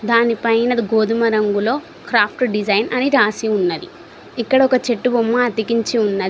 దాని పైన గోధుమ రంగులో క్రాఫ్ట్ డిజైన్ అని రాసి ఉన్నది ఇక్కడ ఒక చెట్టు బొమ్మ అతికించి ఉన్నది.